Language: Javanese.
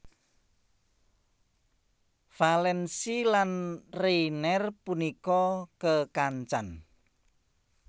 Vallance lan Rayner punika kekancan